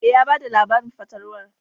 E, ya ba da labarin fatalwar.